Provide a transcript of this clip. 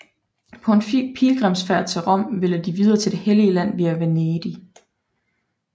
På en pilgrimsfærd til Rom ville de videre til Det Hellige Land via Venedig